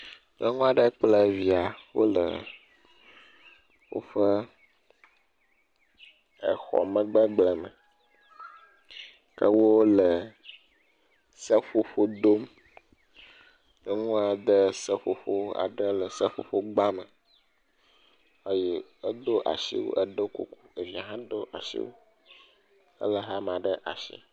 Nyɔnu aɖe kple via wo le woƒe exɔ megbe gbleme ke wo le seƒoƒo dom. Nyɔnua de seƒoƒo aɖe le seƒoƒogba me eye edo asiwui, edo kuku. Evia hã asiwu ele hama ɖe asi.